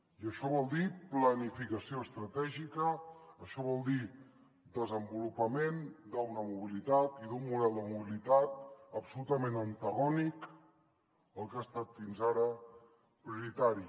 i això vol dir planificació estratègica això vol dir desenvolupament d’una mobilitat i d’un model de mobilitat absolutament antagònic al que ha estat fins ara prioritari